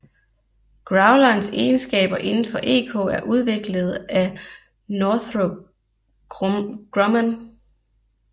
Growlerens egenskaber indenfor EK er udviklet af Northrop Grumman